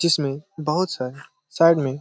जिसमें बहुत सारे साइड में --